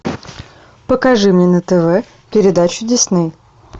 покажи мне на тв передачу дисней